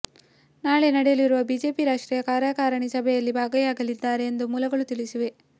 ನಾಳೆ ನಡೆಯಲಿರುವ ಬಿಜೆಪಿ ರಾಷ್ಟ್ರೀಯ ಕಾರ್ಯಕಾರಿಣಿ ಸಭೆಯಲ್ಲಿ ಭಾಗಿಯಾಗಲಿದ್ದಾರೆ ಎಂದು ಮೂಲಗಳು ತಿಳಿಸಿವೆ